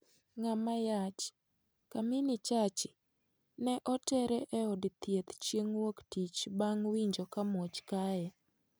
Ng'ama yach, Kamini Chachi, ne oter e od thieth cheng' wuok tich bang' winjo ka muoch kaye.